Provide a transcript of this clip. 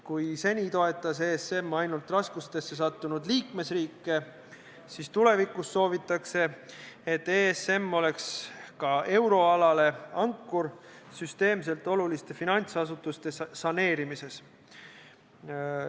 Kui seni toetas ESM ainult raskustesse sattunud liikmesriike, siis tulevikus soovitakse, et ESM oleks ka euroalale ankur süsteemselt oluliste finantsasutuste saneerimises.